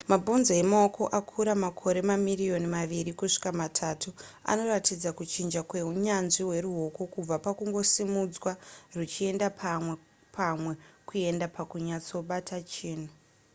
mabhonzo emaoko akura makore mamirioni maviri kusvika matatu anoratidza kuchinja kwehunyanzvi hweruoko kubva pakungosimudzwa ruchienda pamwe kuenda pakunyatsobata chinhu